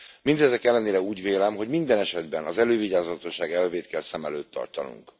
Mindezek ellenére úgy vélem, hogy minden esetben az elővigyázatosság elvét kell szem előtt tartanunk.